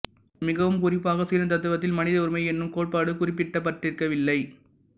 மிகவும் குறிப்பாக சீன தத்துவத்தில் மனித உரிமை என்னும் கோட்பாடு குறிப்பிடப்பட்டிருக்கவில்லை